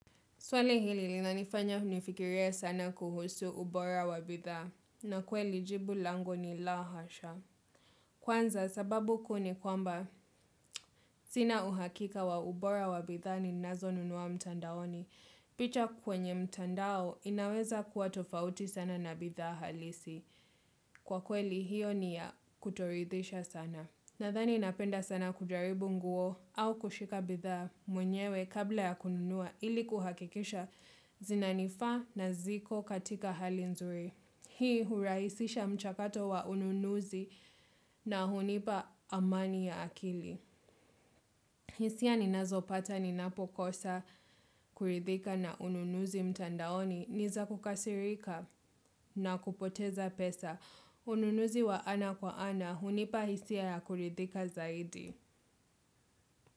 Swali hili linanifanya nifikirie sana kuhusu ubora wa bidhaa na kweli jibu langu ni laa hasha. Kwanza sababu kuu ni kwamba sina uhakika wa ubora wa bidha ninazo nunua mtandaoni. Picha kwenye mtandao inaweza kua tofauti sana na bidha halisi. Kwa kweli hiyo ni ya kutoridhisha sana. Nadhani napenda sana kujaribu nguo au kushika bidhaa mwenyewe kabla ya kununua ili kuhakikisha zinanifaa na ziko katika hali nzuri. Hii hurahisisha mchakato wa ununuzi na hunipa amani ya akili. Hisia ninazopata ni napokosa kuridhika na ununuzi mtandaoni ni za kukasirika na kupoteza pesa. Ununuzi wa ana kwa ana hunipa hisia ya kuridhika zaidi.